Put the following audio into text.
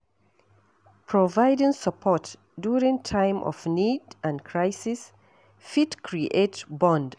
Providing support during time of need and crisis fit create bond